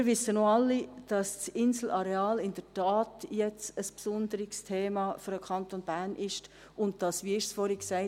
Wir wissen aber auch alle, dass das Inselareal jetzt in der Tat ein besonderes Thema für den Kanton Bern ist und dass dies – wie wurde es vorhin gesagt?